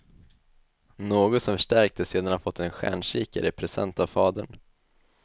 Något som förstärktes sedan han fått en stjärnkikare i present av fadern.